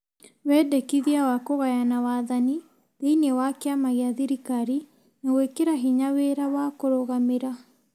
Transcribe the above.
Wendekithia wa kũgayana wathani thĩinĩ wa kĩama gĩa thirikari na gwĩkĩra hinya wĩra wa kũrũgamĩra ,